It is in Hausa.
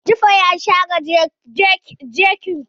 Jibo ya share kejin kare.